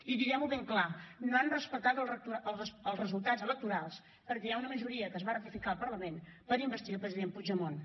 i diguem ho ben clar no han respectat els resultats electorals perquè hi ha una majoria que es va ratificar al parlament per investir el president puigdemont